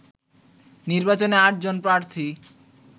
নির্বাচনে আটজন প্রার্থী